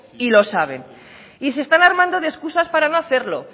y lo saben y se están armando de excusas para no hacerlo